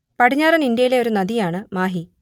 പടിഞ്ഞാറൻ ഇന്ത്യയിലെ ഒരു നദിയാണ് മാഹി